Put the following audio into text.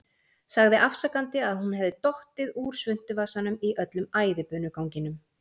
Sagði afsakandi að hún hefði dottið úr svuntuvasanum í öllum æðibunuganginum.